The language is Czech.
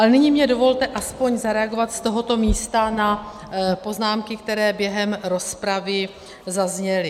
Ale nyní mi dovolte aspoň zareagovat z tohoto místa na poznámky, které během rozpravy zazněly.